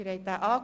Abstimmung